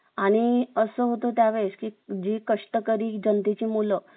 आणि अस होत त्यावेळेस जी कष्टकरी जनते ची मुलं